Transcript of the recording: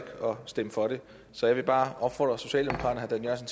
stemme for det så jeg vil bare opfordre socialdemokraterne og